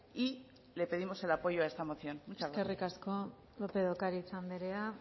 y le pedimos el apoyo a esta moción muchas gracias eskerrik asko lópez de ocariz anderea